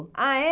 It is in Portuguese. Ah, é?